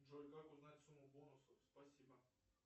джой как узнать сумму бонусов спасибо